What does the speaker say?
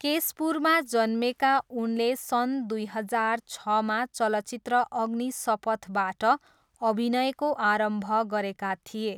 केसपुरमा जन्मेका उनले सन् दुई हजार छमा चलचित्र अग्निसपथबाट अभिनयको आरम्भ गरेका थिए।